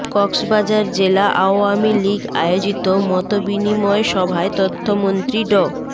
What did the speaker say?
কক্সবাজার জেলা আওয়ামী লীগ আয়োজিত মতবিনিময় সভায় তথ্যমন্ত্রী ড